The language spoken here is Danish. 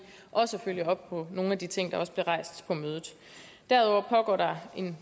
også følge op på nogle af de ting der blev rejst på mødet derudover pågår der